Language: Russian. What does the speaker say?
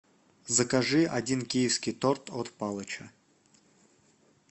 закажи один киевский торт от палыча